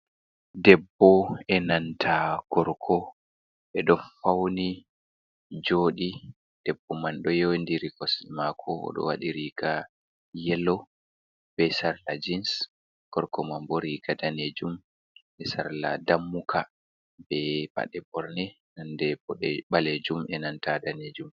Debbo e nanta gorko. Ɓe ɗo fauni joodi, debbo man ɗo yewindiri kosɗe maako. O ɗo waɗi riga yelo be sarla jiins. Gorko man bo riiga daneejum be sarla ndammuka, be paɗe ɓorne nonde ɓaleejum, e nanta daneejum.